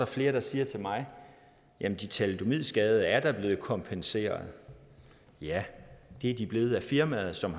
flere der siger til mig jamen de thalidomidskadede er da blevet kompenseret ja det er de blevet af firmaet som